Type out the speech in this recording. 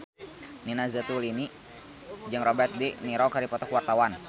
Nina Zatulini jeung Robert de Niro keur dipoto ku wartawan